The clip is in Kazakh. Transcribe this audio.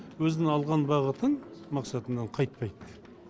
өзінің алған бағытын мақсатынан қайтпайды